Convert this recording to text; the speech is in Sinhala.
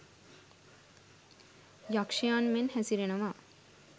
යක්ෂයන් මෙන් හැසිරෙනවා.